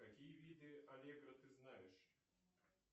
какие виды аллегро ты знаешь